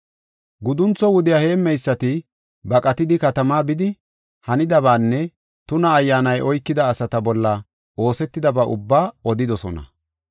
Guduntho wudiya heemmeysati baqatidi katama bidi, hanidabaanne tuna ayyaanay oykida asata bolla oosetidaba ubbaa odidosona.